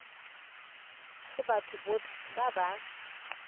go batho botlhe ba ba